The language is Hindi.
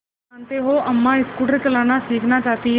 और जानते हो अम्मा स्कूटर चलाना सीखना चाहती हैं